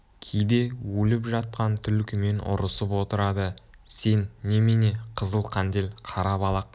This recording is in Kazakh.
кейде өліп жатқан түлкімен ұрысып отырады сен немене қызыл қандел қара балақ